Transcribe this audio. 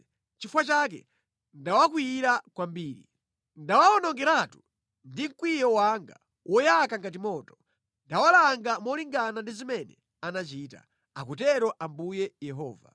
Nʼchifukwa chake ndawakwiyira kwambiri. Ndawawonongeratu ndi mkwiyo wanga woyaka ngati moto. Ndawalanga molingana ndi zimene anachita. Akutero Ambuye Yehova.”